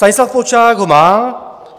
Stanislav Polčák ho má.